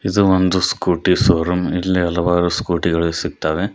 ಇದು ಒಂದು scooty showroom ಎಲ್ಲಿ ಹಲವಾರು ಸ್ಕೂಟಿ ಗಳು ಸಿಗ್ತವೆ.